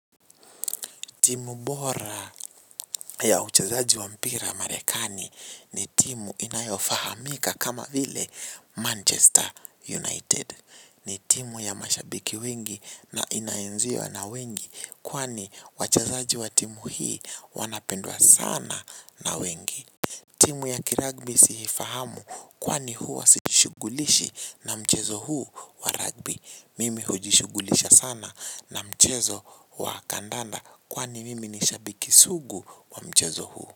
Timu bora ya uchezaji wa mpira marekani ni timu inayofahamika kama vile Manchester United. Ni timu ya mashabiki wengi na inaenziwa na wengi kwani wachezaji wa timu hii wanapendwa sana na wengi. Timu ya kiragbi sii fahamu kwani huwa sijishugulishi na mchezo huu wa ragbi. Mimi hujishugulisha sana na mchezo wa kandanda. Kwani mimi nishabiki sugu wa mchezo huu.